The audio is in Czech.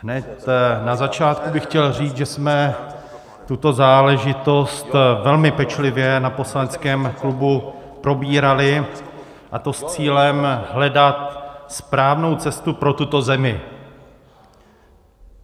Hned na začátku bych chtěl říct, že jsme tuto záležitost velmi pečlivě na poslaneckém klubu probírali, a to s cílem hledat správnou cestu pro tuto zemi.